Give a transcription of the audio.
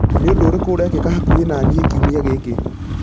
Nĩ ũndũ ũrĩkũ urekĩka hakũhi nanĩe kiũmia gĩkĩ